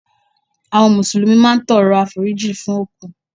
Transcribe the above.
Àwọn Mùsùlùmí máa ń tọrọ àforíjìn fún òkú